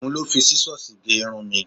Òhun ló fi Sísọ́sìì gé irun mi.